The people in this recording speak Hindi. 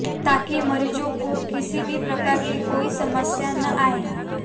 ताकि मरीजों को किसी भी प्रकार की कोई समस्या न आए